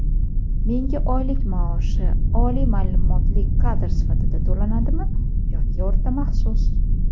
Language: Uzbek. Menga oylik maoshi oliy maʼlumotli kadr sifatida to‘lanadimi yoki o‘rta maxsus?.